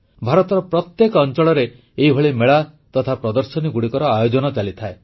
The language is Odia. ଭାରତର ପ୍ରତ୍ୟେକ ଅଂଚଳରେ ଏଭଳି ମେଳା ତଥା ପ୍ରଦର୍ଶନୀଗୁଡ଼ିକର ଆୟୋଜନ ଚାଲିଥାଏ